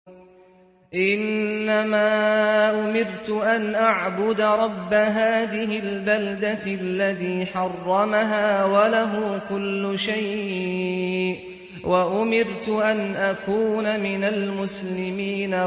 إِنَّمَا أُمِرْتُ أَنْ أَعْبُدَ رَبَّ هَٰذِهِ الْبَلْدَةِ الَّذِي حَرَّمَهَا وَلَهُ كُلُّ شَيْءٍ ۖ وَأُمِرْتُ أَنْ أَكُونَ مِنَ الْمُسْلِمِينَ